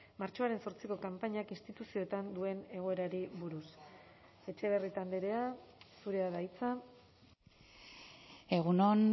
martxoaren zortziko kanpainak instituzioetan duen egoerari buruz etxebarrieta andrea zurea da hitza egun on